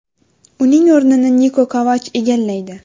Uning o‘rnini Niko Kovach egallaydi.